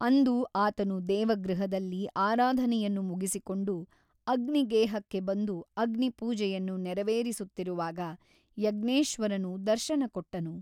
ಅಂದು ಆತನು ದೇವಗೃಹದಲ್ಲಿ ಆರಾಧನೆಯನ್ನು ಮುಗಿಸಿಕೊಂಡು ಅಗ್ನಿಗೇಹಕ್ಕೆ ಬಂದು ಅಗ್ನಿಪೂಜೆಯನ್ನು ನೆರೆವೇರಿಸುತ್ತಿರುವಾಗ ಯಜ್ಞೇಶ್ವರನು ದರ್ಶನಕೊಟ್ಟನು.